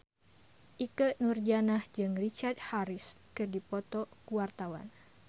Ikke Nurjanah jeung Richard Harris keur dipoto ku wartawan